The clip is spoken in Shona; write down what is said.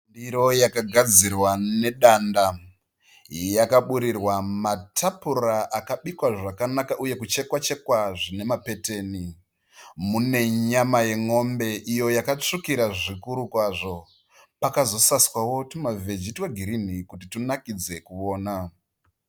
Ndiro yakagadzirwa nedanda, yakaburirwa matapura akabikwa zvakanaka uye kuchekwa chekwa zvine mapeteni. Mune nyama yen'ombe iyo yakatsvukira zvikuru kwazvo, pakazosaswawo twuma veji twegirini kuti tunakidze kuwona.